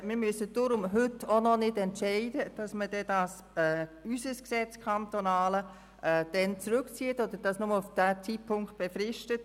Wir müssen deshalb heute noch nicht entscheiden, ob man das kantonale Gesetz auf diesen Zeitpunkt hin befristet.